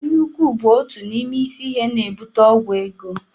Anya ukwu bụ otu n'ime isi ihe na-ebute ọgwụ ego